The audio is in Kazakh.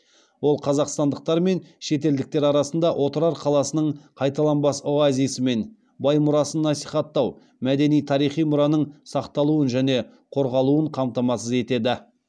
ол қазақстандықтар мен шетелдіктер арасында отырар қаласының қайталанбас оазисі мен бай мұрасын насихаттау мәдени тарихи мұраның сақталуын және қорғалуын қамтамасыз етеді